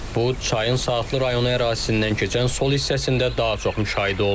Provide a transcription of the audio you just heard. Bu çayın Saatlı rayonu ərazisindən keçən sol hissəsində daha çox müşahidə olunur.